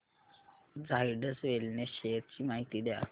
Zydus wellness shares ची माहिती द्या